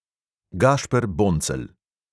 Gašper boncelj.